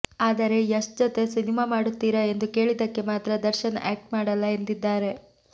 ಆದರೆ ಯಶ್ ಜತೆ ಸಿನಿಮಾ ಮಾಡುತ್ತೀರಾ ಎಂದು ಕೇಳಿದ್ದಕ್ಕೆ ಮಾತ್ರ ದರ್ಶನ್ ಆಕ್ಟ್ ಮಾಡಲ್ಲ ಎಂದಿದ್ದಾರೆ